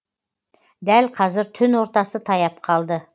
дәл қазір түн ортасы таяп қалды